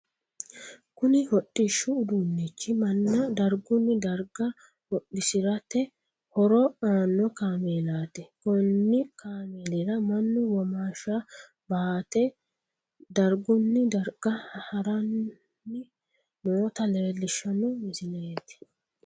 Kunni hodhishu uduunichi manna dargunni darga hodhisirate horo aano kaameelaati konni kaameelira Manu womaasha baate dargunni darga haranni noota leelishano misileeti.